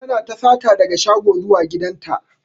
Tana ta sata daga shago zuwa gidan ta.